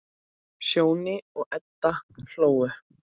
Sjóni og Edda hló.